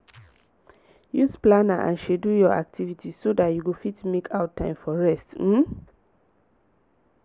use planner and schedule your activities so dat you go fit make out time for rest um